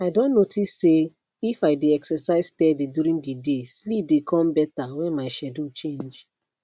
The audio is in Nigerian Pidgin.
i don notice say if i dey exercise steady during the day sleep dey come better when my schedule change